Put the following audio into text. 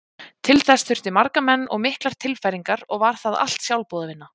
Til þess þurfti marga menn og miklar tilfæringar og var það allt sjálfboðavinna.